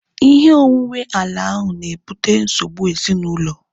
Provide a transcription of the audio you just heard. Ihe onwunwe ala ahu na-ebute nsogbu ezinaụlọ